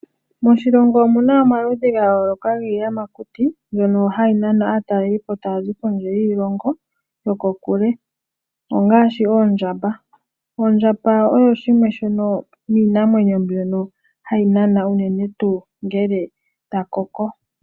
Moshilongo omuna omaludhi gayooloka giiyamakuti mbyono hayi nana aatalelipo taazi kondje yiilongo yoko kule ongaashi oondjamba. Oondjamba oyo shimwe shono miinamwenyo mbyono hayi nana unene tuu ngele dhakoko.